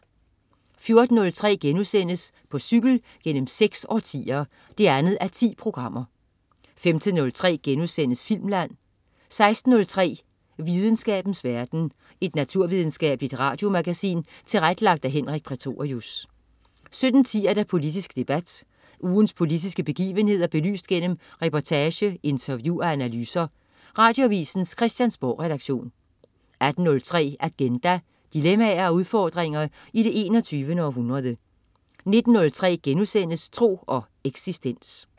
14.03 På cykel gennem seks årtier 2:10* 15.03 Filmland* 16.03 Videnskabens verden. Et naturvidenskabeligt radiomagasin tilrettelagt af Henrik Prætorius 17.10 Politisk debat. Ugens politiske begivenheder belyst gennem reportage, interview og analyser. Radioavisens Christiansborgredaktion 18.03 Agenda. Dilemmaer og udfordringer i det 21. århundrede 19.03 Tro og eksistens*